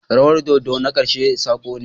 Rawar dodo na ƙarshe sako ne.